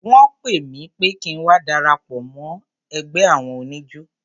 Wọ́n pè mí pé kí ń wá darapọ̀ mọ́ ẹgbẹ́ àwọn oníjó.